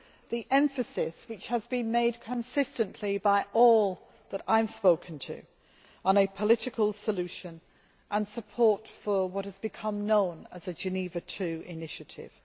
the emphasis which has been placed consistently by all that I have spoken to on a political solution and support for what has become known as the Geneva II initiative